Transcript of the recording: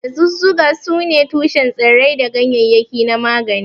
Dazuzzuka sune tushen tsirrai da ganyaryaki na magani.